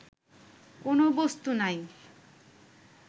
কোন বস্তু নাই